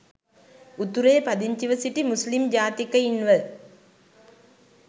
උතුරේ පදිංචිව සිටි මුස්ලිම් ජාතිකයින්ව